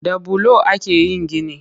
Da bulo ake yin gini